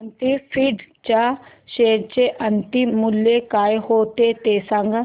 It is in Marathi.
अवंती फीड्स च्या शेअर चे अंतिम मूल्य काय होते ते सांगा